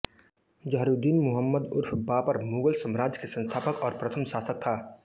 ज़हीरुद्दीन मुहम्मद उर्फ बाबर मुग़ल साम्राज्य के संस्थापक और प्रथम शासक था